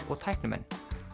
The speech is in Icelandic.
og tæknimenn